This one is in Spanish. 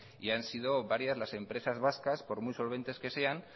y han sido varias las empresas vascas por muy solventes que sean